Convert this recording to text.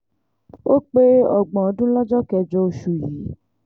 ó pé ọgbọ̀n ọdún lọ́jọ́ kẹjọ oṣù yìí